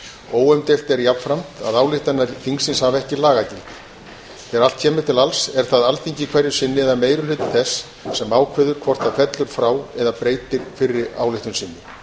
óumdeilt er jafnframt að ályktanir þingsins hafa ekki lagagildi þegar allt kemur til alls er það alþingi hverju sinni eða meiri hluti þess sem ákveður hvort það fellur frá eða breytir fyrri ályktun sinni